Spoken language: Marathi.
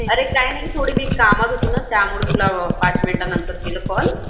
अरे काही नाही थोडी मी कामात होती ना त्यामुळे तुला पाच मिनिटानंतर केला call